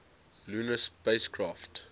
lunar spacecraft